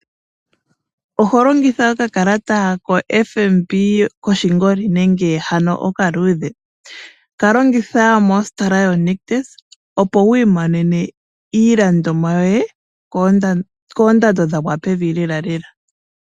Oholongitha oka kalata ko FNB koshingoli nenge hano okaluudhe? Kalongitha mo sitola yo nictus opo wiimonene iilandomwa yoye koondando dha gwa pevi lela lela.